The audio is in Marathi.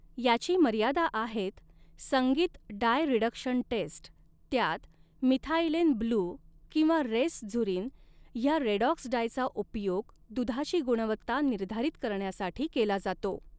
याची मर्यादा आहेत संगीत डाय रिडक्शन टेस्ट त्यात मिथाइलेन ब्लू किंवा रेसझूरिन ह्या रेडॉक्स डायचा उपयोग दुधाची गुणवत्ता निर्धारित करण्यासाठी केला जातो.